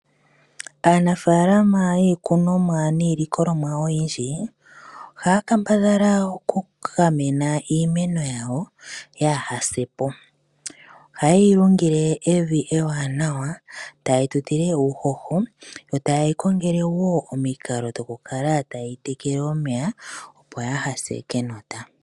Aanafaalama yiikunomwa niilikolomwa oyindji ohaya kambadhala oku gamena iimeno yawo yaahase po, oha yeyi lungile evi ewanawa ta yeyi tutile uuhoho yo ta yeyi kongele wo omikalo dhoku kala ta yeyi tekele omeya opo kayi se kenota.